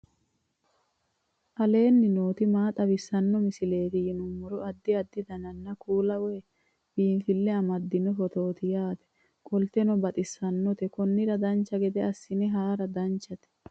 aleenni nooti maa xawisanno misileeti yinummoro addi addi dananna kuula woy biinsille amaddino footooti yaate qoltenno baxissannote konnira dancha gede assine haara danchate